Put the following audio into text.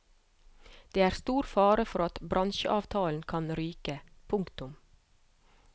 Det er stor fare for at bransjeavtalen kan ryke. punktum